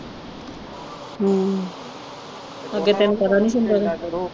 ਹਮ ਅੱਗੇ ਤੈਨੂੰ ਪਤਾ ਨੀ